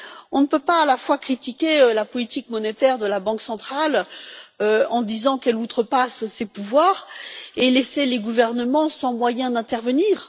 On ne peut pas à la fois critiquer la politique monétaire de la Banque centrale en disant qu'elle outrepasse ses pouvoirs et laisser les gouvernements sans moyens d'intervenir.